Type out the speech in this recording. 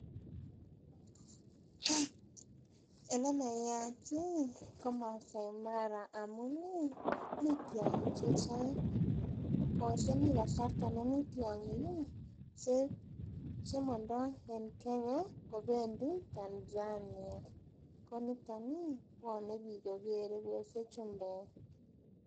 Elenayat ih ko Masai Mara amun mii tiong'ik chechang koose mi kasarta nemii tiong'ik ih chemondoo en Kenya kobendii Tanzania kouniton ih bwone biik kokere koose chumbek